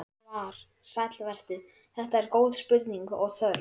Svar: Sæll vertu, þetta eru góð spurning og þörf.